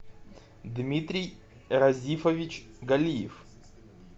дмитрий разифович галиев